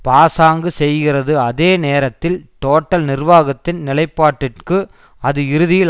பாசாங்கு செய்கிறது அதே நேரத்தில் டோட்டல் நிர்வாகத்தின் நிலைப்பாட்டிற்கு அது இறுதியில்